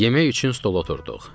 Yemək üçün stol oturduq.